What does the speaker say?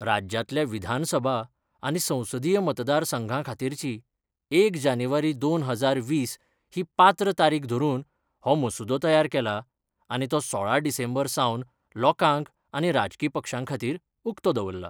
राज्यातल्या विधानसभा आनी संसदीय मतदारसंघा खातीरची एक जानेवारी दोन हजार वीस ही पात्र तारीक धरून हो मसुदो तयार केला आनी तो सोळा डिसेंबर सावन लोकांक आनी राजकी पक्षां खातीर, उकतो दवरला.